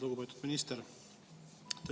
Lugupeetud minister!